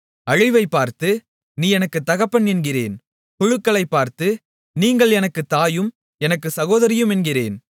அழிவைப்பார்த்து நீ எனக்குத் தகப்பன் என்கிறேன் புழுக்களைப் பார்த்து நீங்கள் எனக்குத் தாயும் எனக்குச் சகோதரியும் என்கிறேன்